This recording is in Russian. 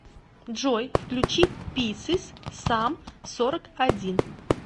джой включи писес сам сорок один